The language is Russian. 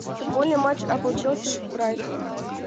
футбольный матч апл челси с брайтоном